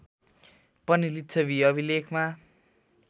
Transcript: पनि लिच्छवी अभिलेखमा